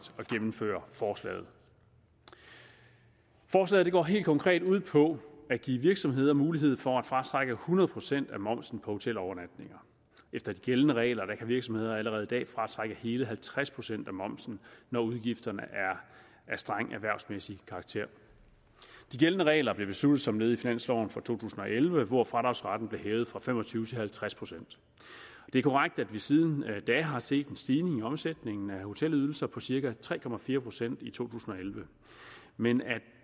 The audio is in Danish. at gennemføre forslaget forslaget går helt konkret ud på at give virksomheder mulighed for at fratrække hundrede procent af momsen på hotelovernatninger efter de gældende regler kan virksomheder allerede i dag fratrække hele halvtreds procent af momsen når udgifterne er af streng erhvervsmæssig karakter de gældende regler blev besluttet som led i finansloven for to tusind og elleve hvor fradragsretten blev hævet fra fem og tyve til halvtreds procent det er korrekt at vi siden da har set en stigning i omsætningen af hotelydelser på cirka tre procent i to tusind og elleve men at